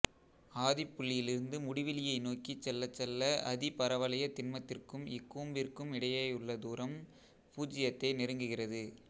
ஆதிப்புள்ளியிலிருந்து முடிவிலியை நோக்கிச் செல்லச் செல்ல அதிபரவளையத்திண்மத்திற்கும் இக்கூம்பிற்கும் இடையேயுள்ள தூரம் பூச்சியத்தை நெருங்குகிறது